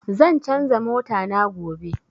Zan canza mota na gobe